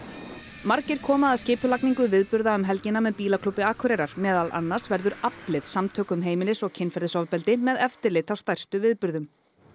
margir koma að skipulagningu viðburða um helgina með Bílaklúbbi Akureyrar meðal annars verður aflið samtök um heimilis og kynferðisofbeldi með eftirlit á stærstu viðburðum